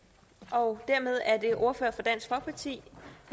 og sige